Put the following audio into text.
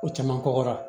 Ko caman kɔgɔra